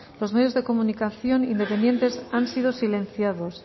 los medios de comunicación independientes han sido silenciados